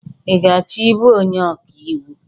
I ga-achọ ibụ onye ọka iwu?